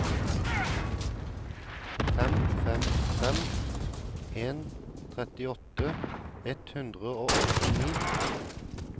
fem fem fem en trettiåtte ett hundre og åttini